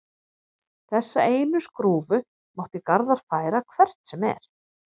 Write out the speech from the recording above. Þessa einu skrúfu mátti Garðar færa hvert sem er.